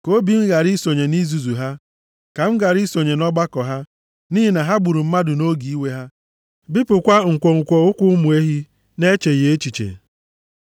Ka obi m ghara isonye nʼizuzu ha, ka m ghara isonye nʼọgbakọ ha, nʼihi na ha gburu mmadụ nʼoge iwe ha, bipụkwa nkwonkwo ụkwụ ụmụ ehi na-echeghị echiche.